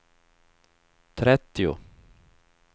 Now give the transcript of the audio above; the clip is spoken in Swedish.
trettio